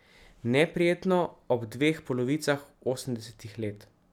Neprijetno ob dveh polovicah osemdesetih let.